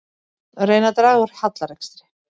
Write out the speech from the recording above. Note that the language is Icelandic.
Reyna að draga úr hallarekstri